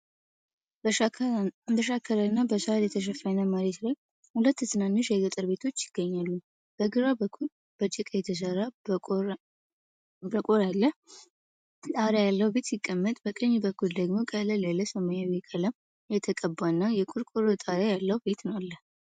በሸካራና በሳር የተሸፈነ መሬት ላይ ሁለት ትናንሽ የገጠር ቤቶች ይገኛሉ። በግራ በኩል፣ በጭቃ የተሠራ፣ ጠቆር ያለ ጣሪያ ያለው ቤት ሲቀመጥ፣ በቀኝ በኩል ደግሞ ቀለል ያለ ሰማያዊ ቀለም የተቀባና የቆርቆሮ ጣሪያ ያለው ቤት አሉ።